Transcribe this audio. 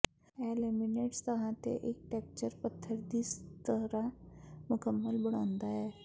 ਇਹ ਲਮਿਨੀਟ ਸਤਹਾਂ ਤੇ ਇੱਕ ਟੇਕਚਰ ਪੱਥਰ ਦੀ ਤਰ੍ਹਾਂ ਮੁਕੰਮਲ ਬਣਾਉਂਦਾ ਹੈ